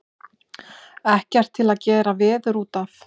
Ekkert til að gera veður út af.